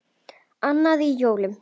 Annan í jólum.